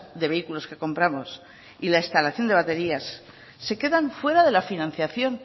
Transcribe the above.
de vehículos que compramos y la instalación de baterías se quedan fuera de la financiación